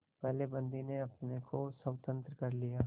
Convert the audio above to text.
पहले बंदी ने अपने को स्वतंत्र कर लिया